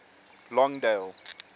longdale